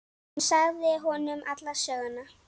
Hún sagði honum alla söguna.